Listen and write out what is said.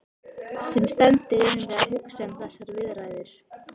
Sem sendur erum við að hugsa um þessar viðræður.